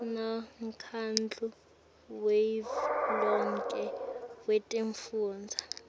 nemkhandlu wavelonkhe wetifundza